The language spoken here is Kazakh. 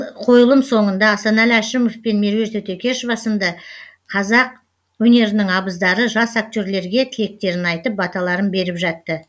қойылым соңында асанәлі әшімеов пен меруерт өтекешова сынды қазақ өнерінің абыздары жас актерлерге тілектерін айтып баталарын беріп жатты